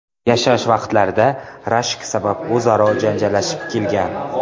yashash vaqtlarida rashk sabab o‘zaro janjallashib kelgan.